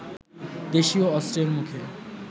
দেশীয় অস্ত্রের মুখে